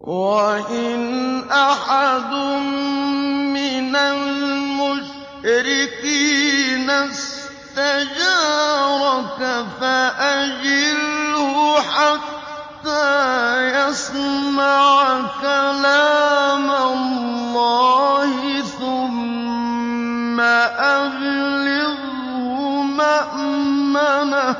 وَإِنْ أَحَدٌ مِّنَ الْمُشْرِكِينَ اسْتَجَارَكَ فَأَجِرْهُ حَتَّىٰ يَسْمَعَ كَلَامَ اللَّهِ ثُمَّ أَبْلِغْهُ مَأْمَنَهُ ۚ